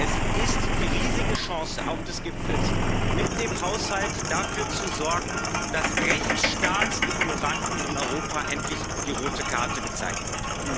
Es ist die riesige Chance, auch des Gipfels, mit dem Haushalt dafür zu sorgen, dass Rechtsstaatsignoranten in Europa endlich die rote Karte gezeigt wird.